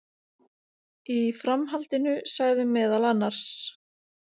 Í framhaldinu sagði meðal annars